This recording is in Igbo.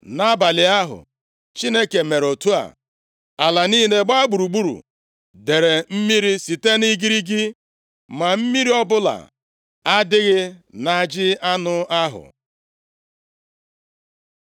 Nʼabalị ahụ, Chineke mere otu a. Ala niile gbaa gburugburu dere mmiri site nʼigirigi, ma mmiri ọbụla adịghị nʼajị anụ ahụ.